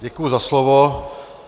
Děkuji za slovo.